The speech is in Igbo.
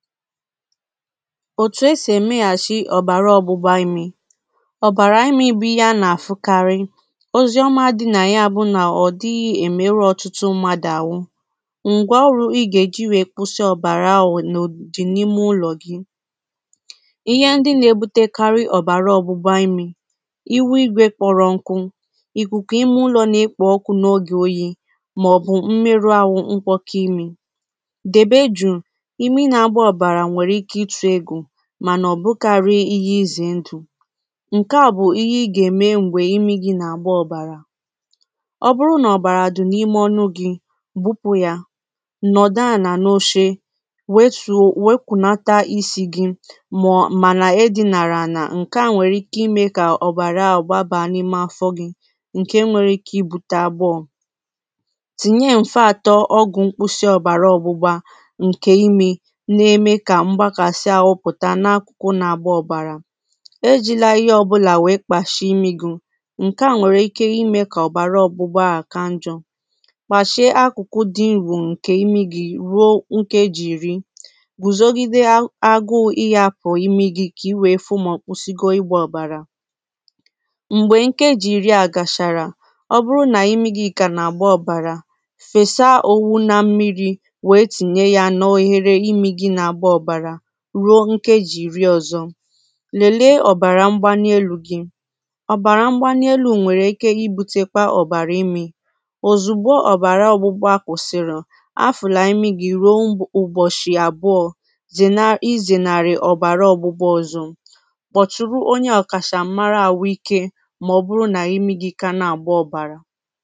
òtù esì èmeɣàchi òbàrà ọgbụgba imi òbàrà imi bu ihe a nà-àfụkarị. oziomà dị nà ya bụ nà òdighị èmeru ọtụtụ mmadụ àhụ ǹgwọọrụ ị gà-èji wèe kwụsị ọbàrà ahụ̀ dì n’ime ụlọ̀ gị ihe ndị nà-ebute karị òbàrà ọgbụgba imi ihu igwe kpọrọ nkụ ìkùkù imi ụlọ̀ nà-ekpo ọkụ̇ n’ogè oyi̇, màọ̀bụ̀ mmerụ ahụ̀ nkwọkọ ime mànà ọ̀ bụkarị ihe izè ndụ̀ ǹke à bụ̀ ihe i gà-ème m̀gbè imi gi̇ nà àgba ọ̀bàrà ọ bụrụ nà ọ̀bàrà dụ̀ n’ime ọnụ gị̇ gbụpụ yȧ nọ̀dụ à nà n’ochè wetùo wepụ̀nata isi̇ gi̇ màọ̀ mànà e dinàrà à nà ǹke à nwèrè ike imė kà ọ̀bàrà àgbàbà n’ime afọ gị̇ ǹkè nwere ike ibute àgbụọ tìnye m̀fe atọ ọgwụ̀ mkpụsị ọ̀bàrà ọ̀gbụgbȧ ǹkè imė m̀gbè nkeji̇ ìri a gàchàrà ruo ǹkeji iri ọzọ. lèlee ọ̀bàrà mgbalielu̇ gị ọ̀bàrà mgbalielu̇ nwèrè ike ibute kwà ọ̀bàrà imi̇ òzùgbo ọ̀bàrà ọ̀gbụgbọ akwụ̀sịrị a fùlà imi gi ruo ụbọ̀shị àbụọ̇ zèna izè nàrị̀ ọ̀bàrà ọ̀gbụgbọ ọzọ gbọ̀tùrù onye ọ̀kàchàmara àhụ ike mà ọ bụrụ nà imi gi̇ kà a na-àgba ọ̀bàrà